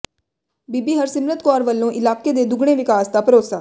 ਬੀਬੀ ਹਰਸਿਮਰਤ ਕੌਰ ਵੱਲੋਂ ਇਲਾਕੇ ਦੇ ਦੁਗਣੇ ਵਿਕਾਸ ਦਾ ਭਰੋਸਾ